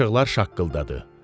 Qaşıqlar şaqqıldadı.